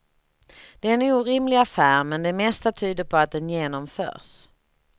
Det är en orimlig affär men det mesta tyder på att den genomförs.